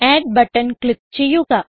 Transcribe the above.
add button click ചെയ്യുക